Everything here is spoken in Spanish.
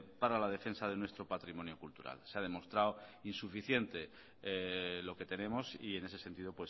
para la defensa de nuestro patrimonio cultural se ha demostrado insuficiente lo que tenemos y en ese sentido